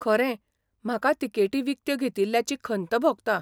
खरें, म्हाका तिकेटी विकत्यो घेतिल्ल्याची खंत भोगता.